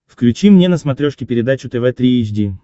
включи мне на смотрешке передачу тв три эйч ди